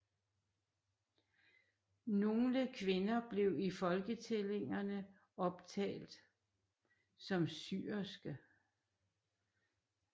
Nogle kvinder blev i folketællingerne optalt som syerske